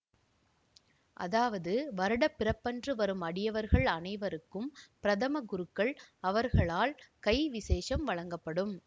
அதாவது வருடப்பிறப்பன்று வரும் அடியவர்கள் அனைவருக்கும் பிரதம குருக்கள் அவர்களால் கை விசேஷம் வழங்கப்படும்